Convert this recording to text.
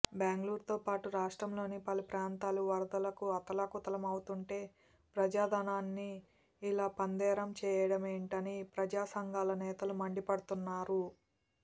బెంగళూరుతోపాటు రాష్ట్రంలోని పలు ప్రాంతాలు వరదలకు అతలాకుతలమవుతోంటే ప్రజా ధనాన్ని ఇలా పందేరం చేయడమేంటని ప్రజా సంఘాల నేతలు మండిపడుతున్నారు